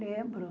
Lembro.